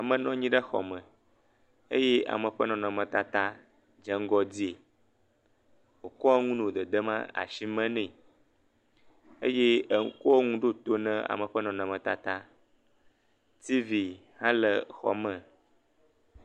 Ame nɔ anyi ɖe xɔ me eye ame ƒe nɔnɔmetata dze ŋgɔ di wo kɔ nu nɔ dedem asi me nɛ ey eko nu ɖo to ne ame ƒe nɔnɔmetata. Tivi hã le xɔmɔ.